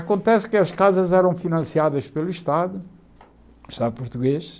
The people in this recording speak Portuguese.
Acontece que as casas eram financiadas pelo Estado, Estado português,